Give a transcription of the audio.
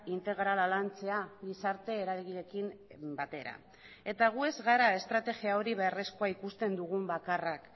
integrala lantzea gizarte eragileekin batera eta gu ez gara estrategia hori beharrezkoa ikusten dugun bakarrak